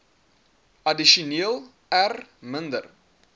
addisioneel r minder